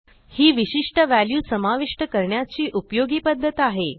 ही विशिष्ट व्हॅल्यू समाविष्ट करण्याची उपयोगी पध्दत आहे